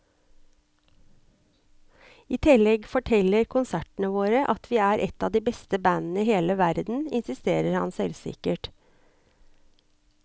I tillegg forteller konsertene våre at vi er et av de aller beste bandene i hele verden, insisterer han selvsikkert.